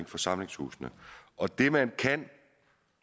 forsamlingshusene og det man kan